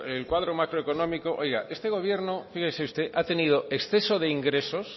el cuadro macroeconómico oiga este gobierno fíjese usted ha tenido exceso de ingresos